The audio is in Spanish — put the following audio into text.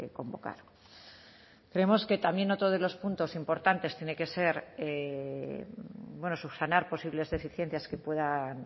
convocar vemos que también otro de los puntos importantes tiene que ser subsanar posibles deficiencias que puedan